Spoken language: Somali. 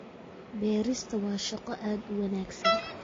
Beerista waa shaqo aad u wanaagsan